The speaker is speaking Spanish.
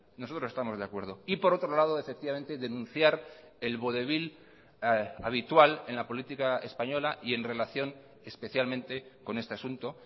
nosotros estamos de acuerdo y por otro lado efectivamente denunciar el vodevil habitual en la política española y en relación especialmente con este asunto